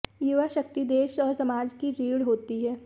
युवा शक्ति देश और समाज की रीढ़ होती है